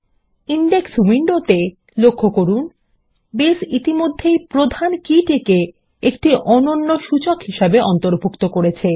index উইন্ডোতে লক্ষ্য করুন বেস ইতিমধ্যেই প্রধান কী টিকে একটি অনন্য সূচক হিসেবে অন্তর্ভুক্ত করেছে